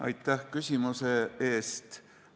Aitäh küsimuse eest!